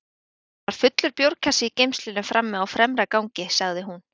Það var fullur bjórkassi í geymslunni frammi á fremra gangi, sagði hún.